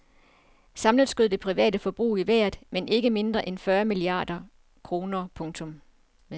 Samlet skød det private forbrug i vejret med ikke mindre end fyrre milliarder kroner. punktum